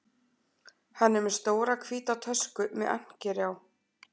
Hann er með stóra hvíta tösku með ankeri á